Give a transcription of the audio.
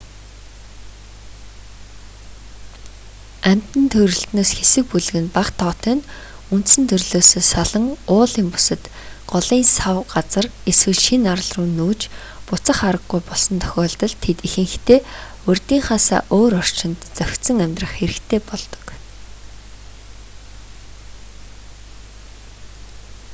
амьтан төрөлтнөөс хэсэг бүлэг нь бага тоотой нь үндсэн төрлөөсөө салан уулын бүсэд голын сав газар эсвэл шинэ арал руу нүүж буцах араггүй болсон тохиолдолд тэд ихэнхдээ урьдынхаасаа өөр орчинд зохицон амьдрах хэрэгтэй болдог